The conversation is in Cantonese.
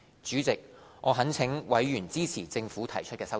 主席，我懇請委員支持政府提出的修正案。